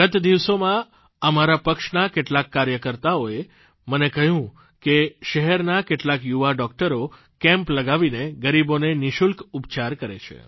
ગત દિવસોમાં અમારા પક્ષના કેટલાક કાર્યકર્તાઓએ મને કહ્યું કે શહેરના કેટલાક યુવા ડોકટરો કેમ્પ લગાવીને ગરીબોને નિઃશુલ્ક ઉપચાર કરે છે